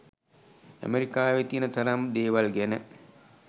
ඇමරිකාවේ තියෙන තරම් දේවල් ගැන